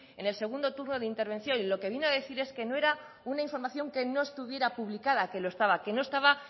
en el segundo turno de intervención y lo que vino a decir es que no era una información que no estuviera publicada que lo estaba que no estaba